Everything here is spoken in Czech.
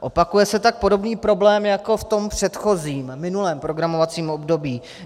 Opakuje se tak podobný problém jako v tom předchozím, minulém programovacím období.